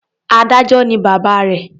Adájọ́ ni bàbá rẹ̀.